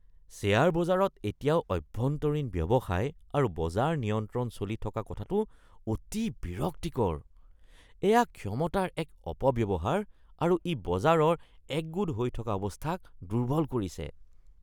Share বজাৰত এতিয়াও অভ্যন্তৰীণ ব্যৱসায় আৰু বজাৰ নিয়ন্ত্ৰণ চলি থকা কথাটো অতি বিৰক্তিকৰ। এয়া ক্ষমতাৰ এক অপব্যৱহাৰ আৰু ই বজাৰৰ একগোট হৈ থকা অৱস্থাক দুৰ্বল কৰিছে।